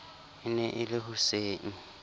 e ne e le hoseng